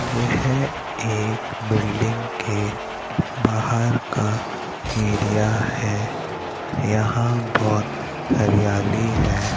यह एक बिल्डिंग के बाहर का एरिया है यहां बहुत हरियाली है।